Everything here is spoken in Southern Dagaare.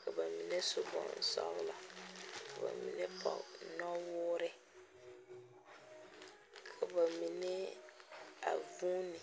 ka bamine su boŋ soglɔɔ, ka bamine pɔge nɔwuore ka bamine vuuni